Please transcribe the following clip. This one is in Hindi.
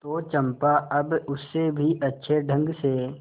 तो चंपा अब उससे भी अच्छे ढंग से